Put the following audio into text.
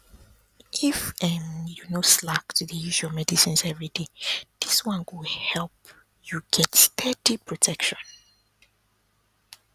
if um you no slack to dey use your medicines everyday this one go help you get steady protection